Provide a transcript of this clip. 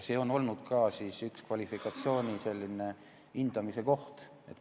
See on olnud ka üks kvalifikatsiooni hindamise kohti.